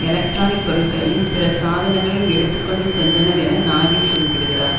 electronic பொருள்களையும் பிற சாதனங்களையும் எடுத்து கொண்டு சென்றனர் என நாகின் குறிப்பிடுகிறார்